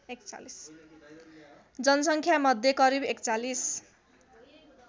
जनसङ्ख्यामध्ये करिब ४१